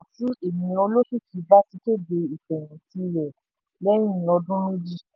ètò yìí tọ̀nà tí ènìyàn olókìkí bá ti kéde ìfẹ̀yìntì rẹ̀ lẹ́yìn ọdún méjì.